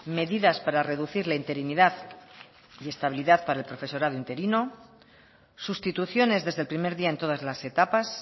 medidas para reducir la interinidad y estabilidad para el profesorado interino sustituciones desde el primer día en todas las etapas